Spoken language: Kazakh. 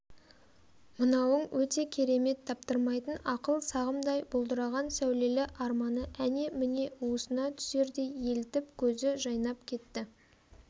мынауың өте керемет таптырмайтын ақыл сағымдай бұлдыраған сәулелк арманы әне-міне уысына түсердей елітіп көзі жайнап кетті